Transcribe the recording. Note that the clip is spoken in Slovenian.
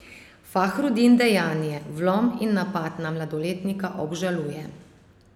Fahrudin dejanje, vlom in napad na mladoletnika, obžaluje.